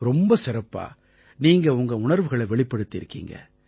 ரொம்ப சிறப்பா நீங்க உங்க உணர்வுகளை வெளிப்படுத்தினீங்க